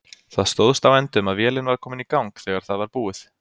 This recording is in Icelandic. Það stóðst á endum að vélin var komin í gang þegar það var búið.